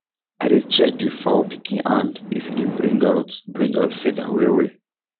i dey check the fowl pikin hand if e dey bring out bring out feather well well